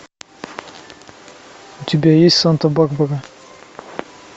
у тебя есть санта барбара